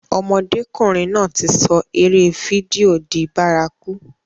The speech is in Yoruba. Ọmọdékùnrin náà ti sọ eré fídíò di bárakú.